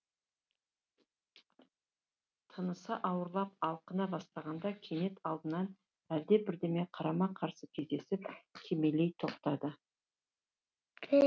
тынысы ауырлап алқына бастағанда кенет алдынан әлде бірдеңеге қарама қарсы кездесіп кимелей тоқтады